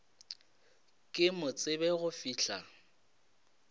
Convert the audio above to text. ke mo tsebe go fihla